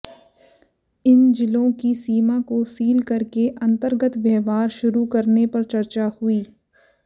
इन जिलों की सीमा को सील करके अंतर्गत व्यवहार शुरू करने पर चर्चा हुई